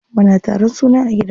Muna taron suna a gida.